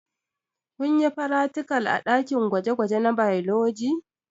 Kunyi fratikal a ɗakin gwaje gwaje na bailoji?